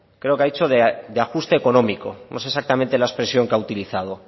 creo que ha dicho de ajuste económico no sé exactamente la expresión que ha utilizado